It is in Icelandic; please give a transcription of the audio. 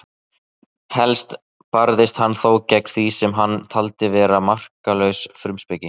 Helst barðist hann þó gegn því sem hann taldi vera marklausa frumspeki.